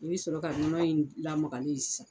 I bɛ sɔrɔ ka nɔnɔ in lamagalen ye sisan.